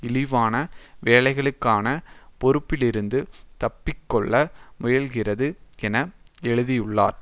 இழிவான வேலைகளுக்கான பொறுப்பிலிருந்து தப்பிக்கொள்ள முயல்கின்றது என எழுதியுள்ளார்